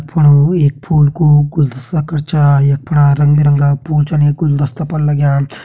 यख फुणु एक फूल कू गुलदस्ता छा यख फणा रंग बिरंगा फूल छन ये गुलदस्ता पर लग्यां।